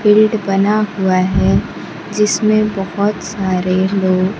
field बना हुआ है जिसमें बहुत सारे लोग--